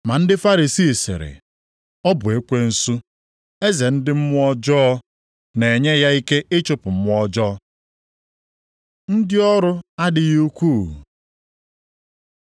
Ma ndị Farisii sịrị, “Ọ bụ ekwensu, eze ndị mmụọ ọjọọ, na-enye ya ike ịchụpụ mmụọ ọjọọ.” Ndị ọrụ adịghị ukwuu